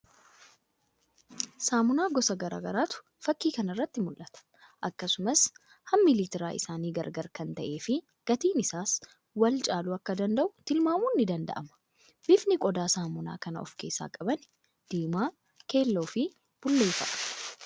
Saamunaa gosa garagaraatu fakkii kana irratti mul'ata. Akkasumas hammi liitira isaanii garagara kan ta'ee fii gatiin isaas wal caaluu akka danda'u tilmamun ni danda'ama. Bifni qodaa samoonaa kana of keessaa qabanii diimaa, keelloo fi bulee fa'a.